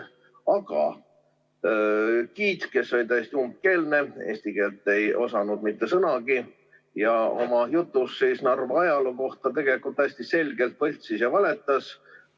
Aga giid, kes oli täiesti umbkeelne, eesti keelt ei osanud sõnagi ja oma jutus Narva ajaloo kohta tegelikult täiesti selgelt võltsis ja valetas.